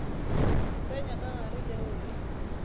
tsenya ka gare yeo e